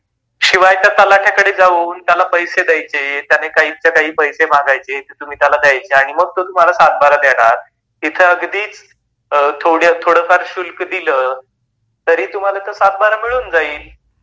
शिवाय त्या तलाटयाकड़े जाऊन त्याला पैसे द्यायचे, त्याने काहीच्या काही पैसे मागायचे आणि तुम्ही त्याला ते द्यायचे आणि मग तो तुम्हाला सातबारा देणार, ईथ अगदीच थोड़ फार शुल्क दिल तरी तुम्हाला तो सात बारा मिळून जाईल.